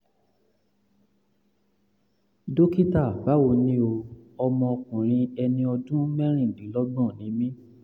dókítà báwo ni o? ọmọ ọkùnrin ẹni ọdún mẹ́rìndínlọ́gbọ̀n ni mí